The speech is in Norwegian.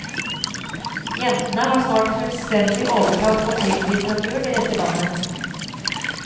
Jentene har snart fullstendig overtak på krimlitteraturen i dette landet.